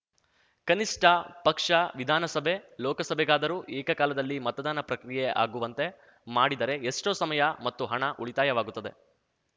ಕನಿಷ್ಠ ಪಕ್ಷ ವಿಧಾನಸಭೆ ಲೋಕಸಭೆಗಾದರೂ ಏಕಕಾಲದಲ್ಲಿ ಮತದಾನ ಪ್ರಕ್ರಿಯೆ ಆಗುವಂತೆ ಮಾಡಿದರೆ ಎಷ್ಟೋ ಸಮಯ ಮತ್ತು ಹಣ ಉಳಿತಾಯವಾಗುತ್ತದೆ